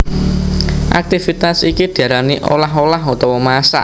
Aktivitas iki diarani olah olah utawa masak